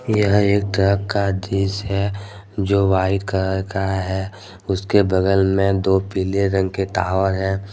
यह एक ट्रक का दृश्य है जो व्हाइट कलर का है उसके बगल में दो पीले रंग के टावर है।